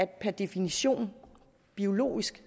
per definition biologisk